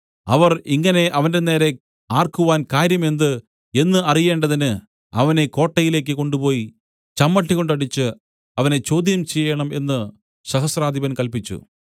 അവർ ഇങ്ങനെ അവന്റെനേരെ ആർക്കുവാൻ കാര്യം എന്ത് എന്ന് അറിയേണ്ടതിന് അവനെ കോട്ടയിലേക്ക് കൊണ്ടുപോയി ചമ്മട്ടികൊണ്ടടിച്ച് അവനെ ചോദ്യം ചെയ്യേണം എന്ന് സഹസ്രാധിപൻ കല്പിച്ചു